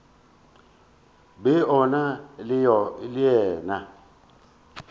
be o na le yena